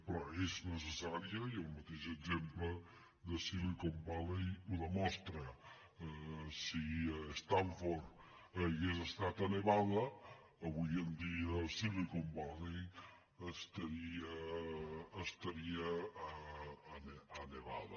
però és necessària i el mateix exemple de silicon valley ho demostra si stanford hagués estat a nevada avui dia silicon valley estaria a nevada